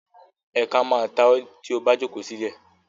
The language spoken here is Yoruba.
Ẹ̀ka má a ta ọ́ tí o bá jókòó sílẹ̀.